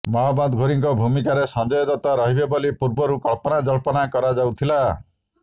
ମହମ୍ମଦ ଘୋରୀଙ୍କ ଭୂମିକାରେ ସଞ୍ଜୟ ଦତ୍ତ ରହିବେ ବୋଲି ପୂର୍ବରୁ କଳ୍ପନାଜଳ୍ପନା କରାଯାଉଥିଲା